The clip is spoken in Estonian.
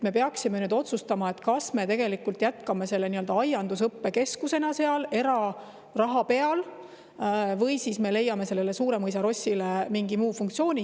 Me peaksime otsustama, kas me jätkame aiandusõppekeskusena seal eraraha peal või siis leiame Suuremõisa lossile mingi muu funktsiooni.